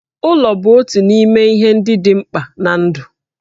Ụlọ bụ otu n'ime ihe ndị dị mkpa ná ndụ